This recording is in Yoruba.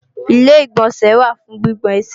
Ilé-ìgbọ̀nsẹ̀ wà fún gbígbọn ẹsẹ̀